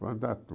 Para andar